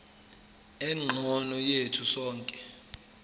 engcono yethu sonke